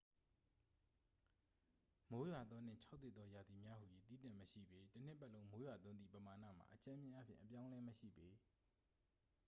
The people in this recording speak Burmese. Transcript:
"""မိုးရွာသော" နှင့် "ခြောက်သွေ့သော" ရာသီများဟူ၍ သီးသန့်မရှိပေ- တစ်နှစ်ပတ်လုံး မိုးရွာသွန်းသည့် ပမာဏမှာ အကြမ်းဖျဉ်းအားဖြင့် အပြောင်းအလဲမရှိပေ။